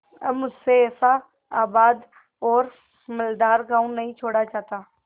अब मुझसे ऐसा आबाद और मालदार गॉँव नहीं छोड़ा जाता